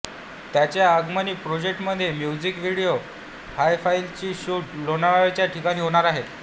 त्याच्या आगामी प्रोजेक्टमध्ये म्युझिक व्हिडिओ हिफायझतचा शूट लोणावालाच्या ठिकाणी होणार आहे